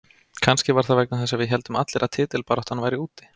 Kannski var það vegna þess að við héldum allir að titilbaráttan væri úti.